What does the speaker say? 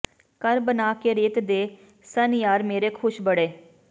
ਘਰ ਬਣਾ ਕੇ ਰੇਤ ਦੇ ਸਨ ਯਾਰ ਮੇਰੇ ਖੁਸ਼ ਬੜੇ